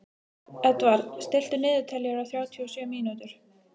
Edvard, stilltu niðurteljara á þrjátíu og sjö mínútur.